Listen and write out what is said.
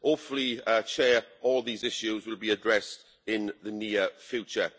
Hopefully, all these issues will be addressed in the near future.